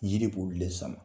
yiri b'olu de sama.